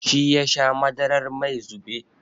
Shi yasha madarar mai zube.